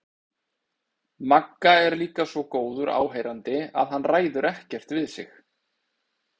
Magga er líka svo góður áheyrandi að hann ræður ekkert við sig.